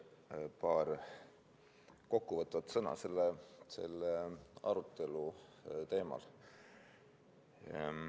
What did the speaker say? Ütlen paar kokkuvõtvat sõna selle arutelu teemal.